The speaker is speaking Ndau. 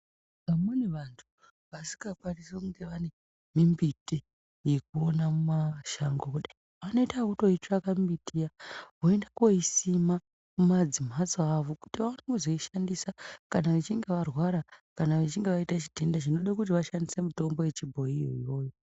Vamweni vantu vasingakwanisi kunge vane mimbiti yekuona mumashango kudai vanoita ekutoitsvaka mbiti iya, voinda koisima mumamhatso avo kuti vaone kuzoishandisa kana vechinge varwara kana vechinge vaita chitenda chinoda kuti vashandise mitombo yechibhoyi iyoyo.